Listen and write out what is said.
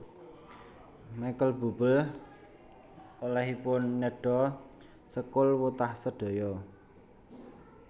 Michael Buble olehipun nedha sekul wutah sedaya